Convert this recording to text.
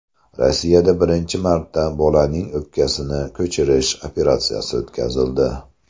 Rossiyada birinchi marta bolaning o‘pkasini ko‘chirish operatsiyasi o‘tkazildi.